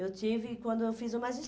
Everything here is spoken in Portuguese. Eu tive quando eu fiz o